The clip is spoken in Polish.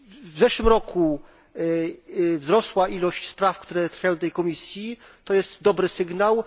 W zeszłym roku wzrosła ilość spraw, które trafiają do tej komisji, to jest dobry sygnał.